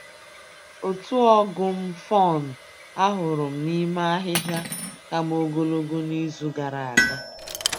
Otu ọgụ m fun ahụrụ m n'ime ahịhịa ka m ogologo n'izu gara aga